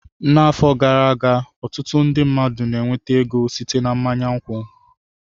N'afọ gara aga, ọtụtụ ndị mmadụ na-enweta ego site na mmanya nkwụ.